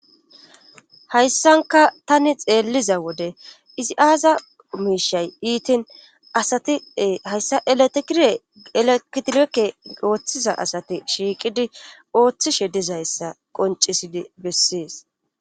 hayssanka tani xeelliza wode izi aaza omiishay iitin asatie hayssa elatekireelekitilekke ooththiza asati shiiqidi ooththishe dizayssa qoncisidi bessees